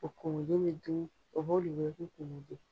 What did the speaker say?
O komolen mi dun